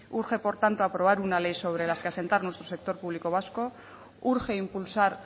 urge por tanto aprobar una ley sobre la que asentar nuestro sector público vasco urge impulsar